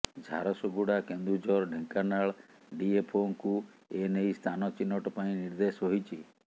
ଝାରସୁଗୁଡ଼ା କେନ୍ଦୁଝର ଢେଙ୍କାନାଳ ଡିଏଫଓଙ୍କୁ ଏ ନେଇ ସ୍ଥାନ ଚିହ୍ନଟ ପାଇଁ ନିର୍ଦ୍ଦେଶ ହୋଇଛି